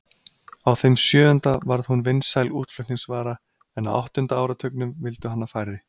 Á þeim sjöunda varð hún vinsæl útflutningsvara en á áttunda áratugnum vildu hana færri.